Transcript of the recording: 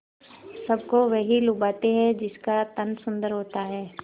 सबको वही लुभाते हैं जिनका तन सुंदर होता है